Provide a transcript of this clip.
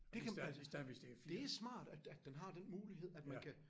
Det kan det smart at at den har den mulighed at man kan